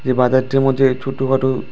এ বাজারটির মধ্যে ছোটখাটো।